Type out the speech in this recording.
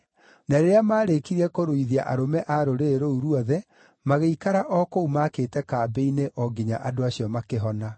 Na rĩrĩa maarĩkirie kũruithia arũme a rũrĩrĩ rũu ruothe, magĩikara o kũu maakĩte kambĩ-inĩ o nginya andũ acio makĩhona.